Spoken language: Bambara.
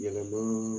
Yɛlɛma